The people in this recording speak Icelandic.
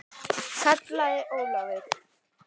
kallaði Ólafur.